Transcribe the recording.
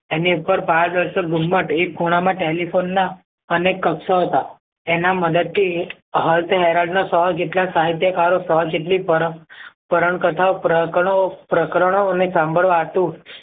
એની ઉપર પારદર્શક ગુમ્મ્ત એક ખૂણા માં telephone ના અનેક કક્ષ હતા તેના મદદ થી સો જેટલા સાહિત્યકારો સો જેટલી પુરણ પોઉંરણ કથા ઓ પ્રકરણો પ્રકરણો અને સાંભળવા હાટુ